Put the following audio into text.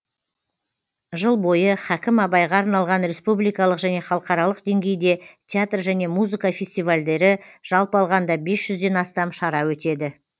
жыл бойы хәкім абайға арналған республикалық және халықаралық деңгейде театр және музыка фестивальдері жалпы алғанда бес жүзден астам шара өтеді